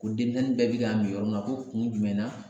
Ko denmisɛnnin bɛɛ bɛ ka min yɔrɔ min na ko kun jumɛn na